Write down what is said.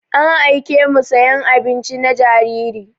An aiƙe mu sayan abinci na jariri.